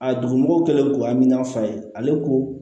A dugumɔgɔw kɛlen don amina fa ye ale ko